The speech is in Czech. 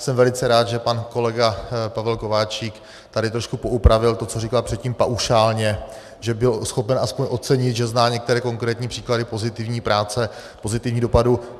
Jsem velice rád, že pan kolega Pavel Kováčik tady trošku poupravil to, co říkal předtím paušálně, že byl schopen aspoň ocenit, že zná některé konkrétní příklady pozitivní práce, pozitivních dopadů.